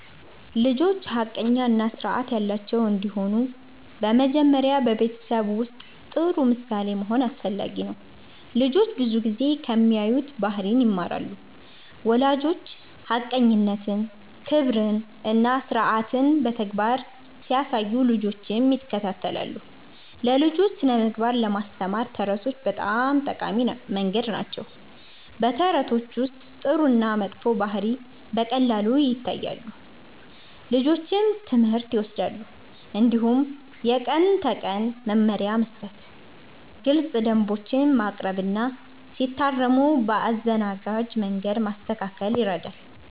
ልጆች ሐቀኛ እና ስርዓት ያላቸው እንዲሆኑ በመጀመሪያ በቤተሰብ ውስጥ ጥሩ ምሳሌ መሆን አስፈላጊ ነው። ልጆች ብዙ ጊዜ ከሚያዩት ባህሪ ይማራሉ። ወላጆች ሐቀኝነትን፣ ክብርን እና ስርዓትን በተግባር ሲያሳዩ ልጆችም ይከተላሉ። ለልጆች ስነ-ምግባር ለማስተማር ተረቶች በጣም ጠቃሚ መንገድ ናቸው። በተረቶች ውስጥ ጥሩ እና መጥፎ ባህሪ በቀላሉ ይታያል፣ ልጆችም ትምህርት ይወስዳሉ። እንዲሁም የቀን ተቀን መመሪያ መስጠት፣ ግልፅ ደንቦች ማቅረብ እና ሲታረሙ በአዘናጋጅ መንገድ ማስተካከል ይረዳል።